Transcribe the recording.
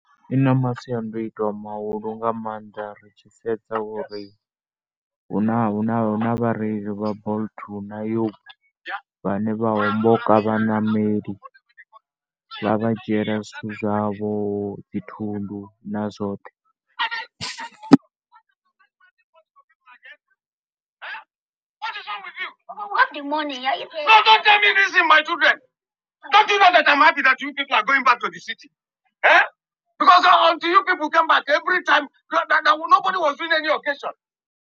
Ḽi na masiandaitwa mahulu nga maanḓa. Ri tshi sedza uri hu na, hu na vhareili vha Bolt na vhane vha homboka vhaṋameli. Vha vha dzhiela zwithu zwavho, dzi thundu na zwoṱhe.